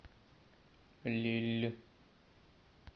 лилль